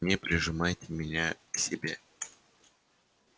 не прижимайте меня к себе